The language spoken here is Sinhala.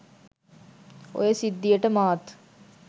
ඔය සිද්ධියට මාත්